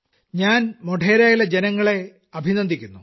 ഞാൻ മോഢേരായിലെ ജനങ്ങളെ അഭിനന്ദിക്കുന്നു